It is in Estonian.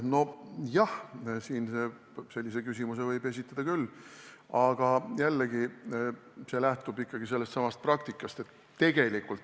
Nojah, sellise küsimuse võib esitada küll, aga jällegi, see säte lähtub ikkagi sellestsamast praktikast.